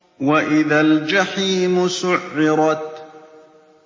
وَإِذَا الْجَحِيمُ سُعِّرَتْ